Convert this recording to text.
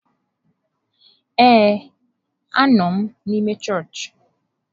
Ee, anọ m n'ime chọọchị.